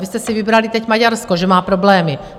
Vy jste si vybrali teď Maďarsko, že má problémy.